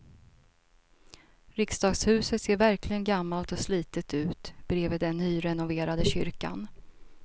Riksdagshuset ser verkligen gammalt och slitet ut bredvid den nyrenoverade kyrkan.